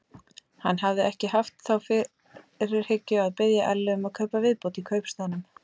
Hann hafði ekki haft þá fyrirhyggju að biðja Ellu um að kaupa viðbót í kaupstaðnum.